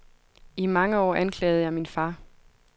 I mange år anklagede jeg min far.